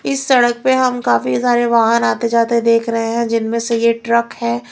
इस सड़क पे हम काफी सारे वाहन आते जाते देख रहे हैं जिनमें से ये ट्रक है।